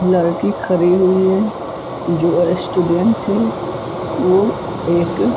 लरकी खरी हुई है जो एसटूड़ेंत है वो एक --